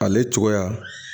Ale cogoya